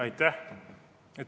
Aitäh!